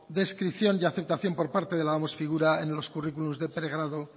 descripción y aceptación por parte de la oms figura en los currículum de pregrado